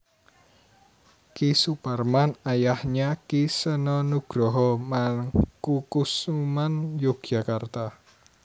Ki Suparman ayahnya Ki Seno Nugroho Mangkukusuman Yogyakarta